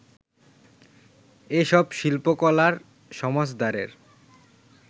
এ সব শিল্পকলার সমজদারের